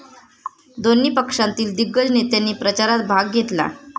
दोन्ही पक्षांतील दिग्गज नेत्यांनी प्रचारात भाग घेतला.